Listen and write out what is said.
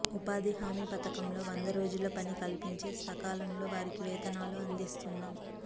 ఉపాధి హామీ పథకంలో వంద రోజుల పని కల్పించి సకా లంలో వారికి వేతనాలు అందిస్తున్నాం